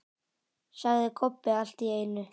sagði Kobbi allt í einu.